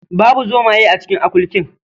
Babu zomaye a cikin akurkin.